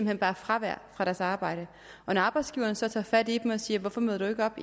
hen bare fravær fra deres arbejde når arbejdsgiveren så tager fat i dem og siger hvorfor møder du ikke op